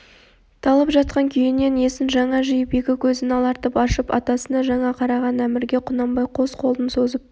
талып жатқан күйінен есін жаңа жиып екі көзін алартып ашып атасына жаңа қараған әмірге құнанбай қос қолын созып